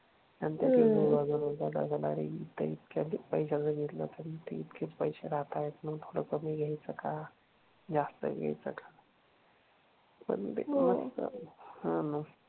इतका पैसा घेतला तर तिथे पैसे राहतात. मग थोडा कमी घ्यायचा का जास्त घ्यायचं का